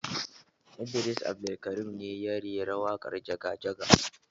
Idris Abdulkarim ne ya rera waƙar jaga jaga